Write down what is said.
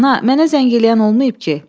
Ana, mənə zəng eləyən olmayıb ki?